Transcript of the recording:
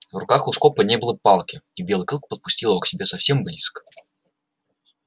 в руках у скопа не было палки и белый клык подпустил его к себе совсем близко